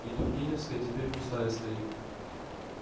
и тургеневская теперь пустая стоит